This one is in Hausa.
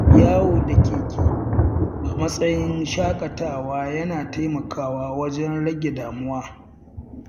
Yawo da keke a matsayin shaƙatawa yana taimakawa wajen rage damuwa.